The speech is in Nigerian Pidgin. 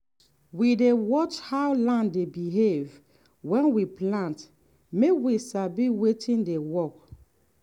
we dey watch how land dey behave when we plant make we sabi wetin dey work.